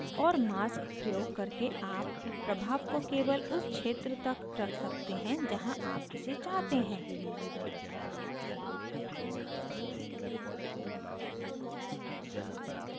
और mask प्रयोग करके आप प्रभाव को केवल उस क्षेत्र तक रख सकते हैं जहाँ आप इसे चाहते हैं